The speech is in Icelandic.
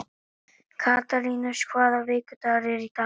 Katarínus, hvaða vikudagur er í dag?